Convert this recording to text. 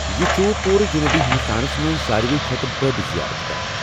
یہ چھ پوٗرٕ جنوبی ہنٛدستانس منٛز ساروٕے کھۄتہٕ بٕڈ زیارت گاہ۔